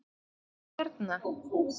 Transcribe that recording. Hvað er hérna?